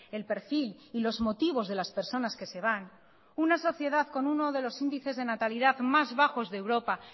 el perfil y los motivos de las personas que se van una sociedad con uno de los índices de natalidad más bajos de europa